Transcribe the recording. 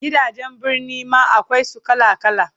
Gidajen Birni ma akwai su kala kala